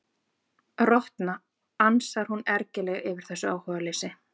Rotna, ansar hún ergileg yfir þessu áhugaleysi.